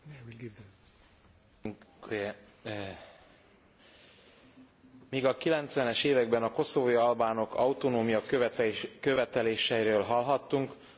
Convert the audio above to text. Míg a 90 es években a koszovói albánok autonómiaköveteléseiről hallhattunk, mára Koszovó az EU tagállamok többség által elismert, független állammá vált.